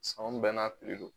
Sɔn bɛɛ n'a piri don